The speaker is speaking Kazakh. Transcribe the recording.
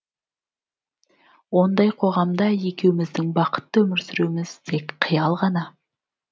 ондай қоғамда екеуміздің бақытты өмір сүруіміз тек қиял ғана